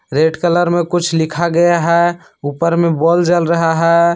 Red colour में कुछ लिखा गया है ऊपर में बोल जल रहा है।